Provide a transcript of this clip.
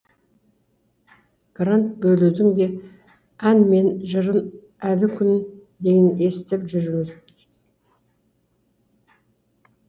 грант бөлудің де ән мен жырын әлі күнге дейін естіп жүрміз